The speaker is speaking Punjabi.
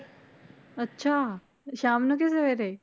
ਅੱਛਾ ਸ਼ਾਮ ਨੂੰ ਕਿ ਸਵੇਰੇ?